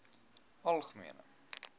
algemene